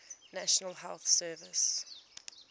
national health service